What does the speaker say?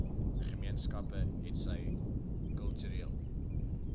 gemeenskappe hetsy kultureel